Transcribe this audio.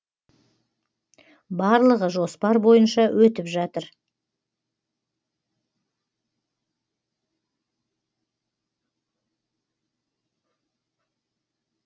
барлығы жоспар бойынша өтіп жатыр